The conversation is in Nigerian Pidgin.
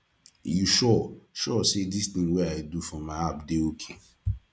you sure sure say this thing wey i dey do for my app dey okay